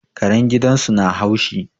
Karen gidan su na haushi